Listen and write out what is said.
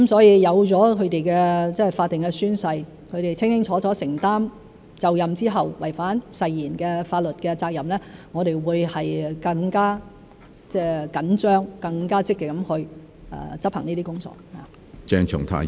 有了他們的法定宣誓，他們清清楚楚地承擔就任後違反誓言的法律責任，我們會更加緊張、更加積極地去執行這些工作。